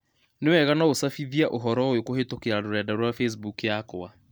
Nĩ wega no úcabithia ũhoro ũyũkũhītũkīra rũrenda rũa facebook yakwa